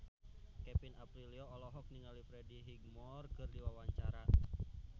Kevin Aprilio olohok ningali Freddie Highmore keur diwawancara